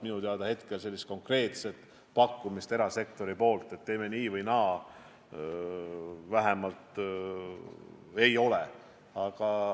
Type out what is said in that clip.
Minu teada praegu konkreetset erasektori pakkumist, et teeme nii või naa, ei ole.